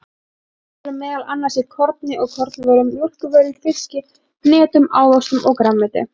Steinefni eru meðal annars í korni og kornvörum, mjólkurvörum, fiski, hnetum, ávöxtum og grænmeti.